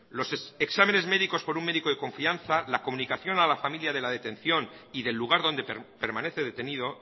los exámenes médicos por un médico de confianza la comunicación a la familia de la detención y del lugar donde permanece detenido